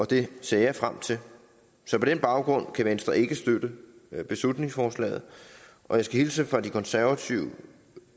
det ser jeg frem til så på den baggrund kan venstre ikke støtte beslutningsforslaget og jeg skal hilse fra de konservative